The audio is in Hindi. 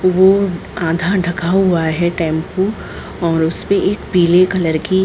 वो आधा ढका हुआ है टेम्पू और उसपे एक पीले कलर की --